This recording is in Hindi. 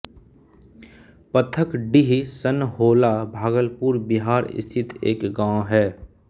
पथकडीह सनहौला भागलपुर बिहार स्थित एक गाँव है